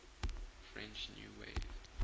french new wave